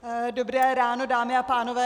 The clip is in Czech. Dobré ráno, dámy a pánové.